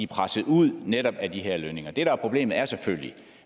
presset ud netop på grund af de her lønninger det der er problemet er selvfølgelig